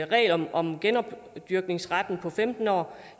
regel om om genopdyrkningsretten på femten år